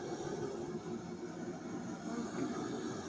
Aí eu falei, o quê que eu vou fazer?